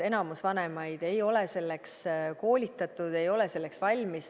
Enamik vanemaid ei ole selleks koolitatud, ei ole selleks valmis.